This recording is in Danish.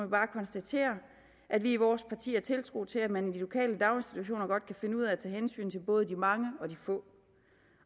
bare konstatere at vi i vores parti har tiltro til at man i de lokale daginstitutioner godt kan finde ud af at tage hensyn til både de mange og de få